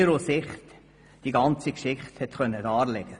Dort konnte sie die ganze Geschichte aus ihrer Sicht darlegen.